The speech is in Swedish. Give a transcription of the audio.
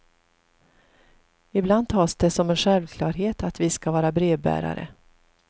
Ibland tas det som en självklarhet att vi ska vara brevbärare.